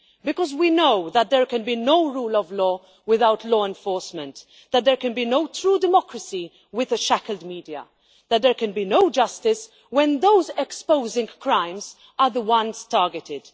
Because we know that there can be no rule of law without law enforcement, that there can be no true democracy with a shackled media, and that there can be no justice when those exposing crimes are the ones targeted.